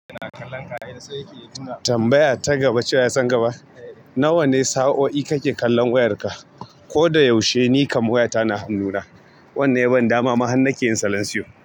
Tambaya ta gaba, cewa ya san gaba. Na wa ne sa'o'i kake kallon wayarka? Ko da yaushe ni kam wayata na hannuna. Wannan ya ban dama ma han nake yin salanciyo.